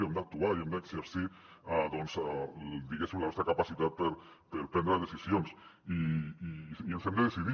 hem d’actuar i hem d’exercir diguéssim la nostra capacitat per prendre decisions i ens hem de decidir